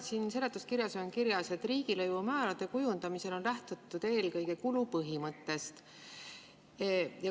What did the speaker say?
Siin seletuskirjas on kirjas: "Riigilõivumäärade kujundamisel on lähtutud eelkõige kulupõhimõttest.